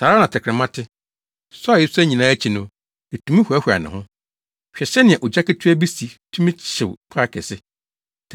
Saa ara na tɛkrɛma te; sua a esua nyinaa akyi no, etumi hoahoa ne ho. Hwɛ sɛnea ogya ketewaa bi si tumi hyew kwae kɛse.